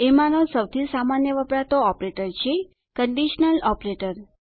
એમાંનો સૌથી સામાન્ય વપરાતો ઓપરેટર છે કંડીશનલ ઓપરેટર